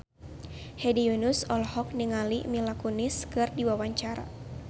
Hedi Yunus olohok ningali Mila Kunis keur diwawancara